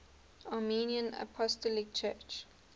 armenian apostolic church